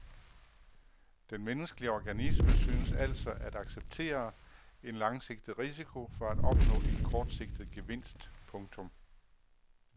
Den menneskelige organisme synes altså at acceptere en langsigtet risiko for at opnå en kortsigtet gevinst. punktum